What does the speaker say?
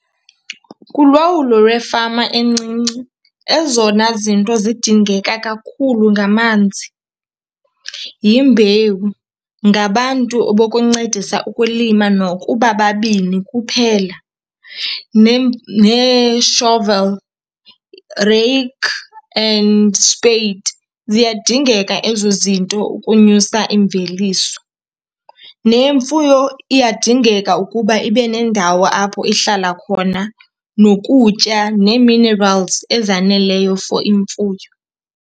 Kulawulo lwefama encinci ezona zinto zidingeka kakhulu ngamanzi, yimbewu, ngabantu bokuncedisa ukulima nokuba babini kuphela, nee-shovel rake and spade. Ziyadingeka ezo zinto ukunyusa imveliso. Nemfuyo iyadingeka ukuba ibe nendawo apho ihlala khona, nokutya nee-minerals ezaneleyo for imfuyo.